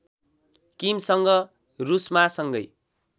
किमसँग रुसमा सँगै